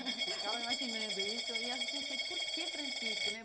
Ficava me imaginando isso e aí eu pensei, por que Francisco, né?